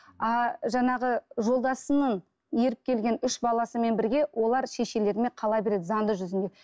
а жаңағы жолдасының еріп келген үш баласымен бірге олар шешелерімен қала береді заңды жүзінде